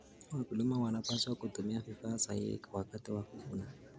Wakulima wanapaswa kutumia vifaa sahihi wakati wa kuvuna.